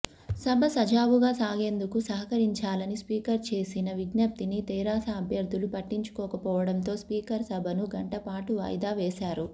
సభ సజావుగా సాగేందుకు సహకరించాలని స్వీకర్ చేసిన విజ్ఞప్తిని తెరాస అభ్యర్థులు పట్టించుకోకపోవడంతో స్వీకర్ సభను గంటపాటు వాయిదా వేశారు